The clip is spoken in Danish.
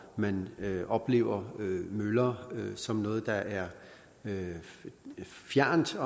man oplever møller som noget der er fjernt